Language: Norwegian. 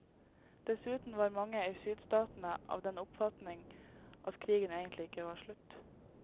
Dessuten var mange i sydstatene av den oppfatning at krigen egentlig ikke var slutt.